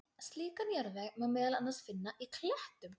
Slíkan jarðveg má meðal annars finna í klettum.